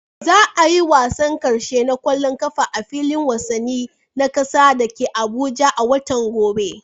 Za a yi wasan karshe na kwallon kafa a filin wasanni na kasa da ke Abuja a watan gobe.